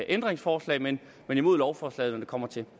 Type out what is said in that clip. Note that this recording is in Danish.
ændringsforslag men imod lovforslaget når det kommer til